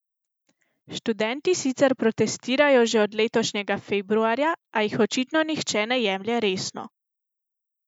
Študenti sicer protestirajo že od letošnjega februarja, a jih očitno nihče ne jemlje resno.